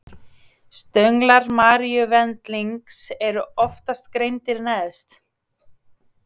stönglar maríuvendlings eru oftast greindir neðst